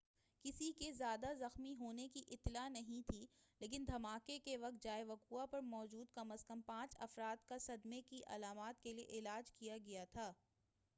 کسی کے زیادہ زخمی ہونے کی اطلاع نہیں تھی لیکن دھماکے کے وقت جائے وقوع پر موجود کم از کم پانچ افراد کا صدمے کی علامات کیلئے علاج کیا گیا تھا